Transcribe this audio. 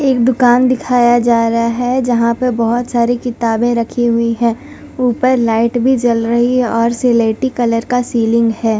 एक दुकान दीखाया जा रहा है जहां पे बहोत सारी किताबें रखी हुई है ऊपर लाइट भी जल रही है और सिलेटी कलर का सीलिंग है।